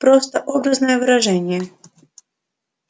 просто образное выражение